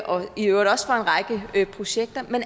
og i øvrigt også for en række projekter